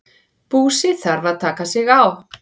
Búsi þarf að taka sig á.